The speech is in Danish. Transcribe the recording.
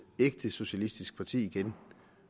ægte socialistisk parti igen